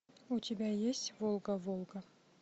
у тебя есть волга волга